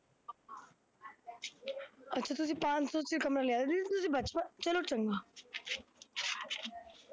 ਤੁਸੀਂ ਚ ਕਮਰਾ ਲਿਆ ਸੀ, ਤੁਸੀਂ ਬੈਠੋ, ਚੱਲੋ ਚੱਲੋ।